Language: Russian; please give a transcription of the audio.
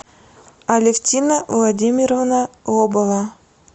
алевтина владимировна лобова